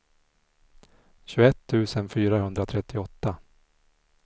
tjugoett tusen fyrahundratrettioåtta